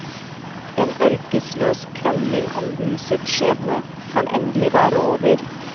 En ørkesløs krangling om husets skjebne kan endelig være over.